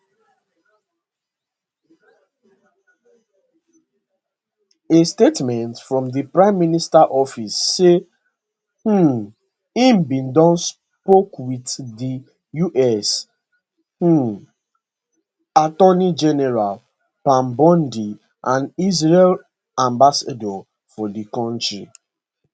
a statement from di prime minister office say um im bin don spoke wit di us um attorney general pam bondi and israel ambassador for di kontri